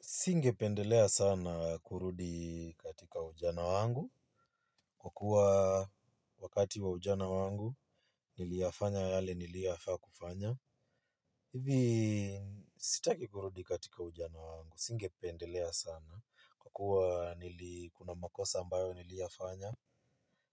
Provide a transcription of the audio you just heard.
Singependelea sana kurudi katika ujana wangu kwa kuwa wakati wa ujana wangu niliyafanya yale nilioyafaakufanya. Hivi sitaki kurudi katika ujana wangu. Singependelea sana kwa kuwa nilikuna makosa ambayo niliyafanya